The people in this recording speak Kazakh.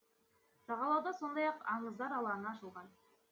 жағалауда сондай ақ аңыздар алаңы ашылған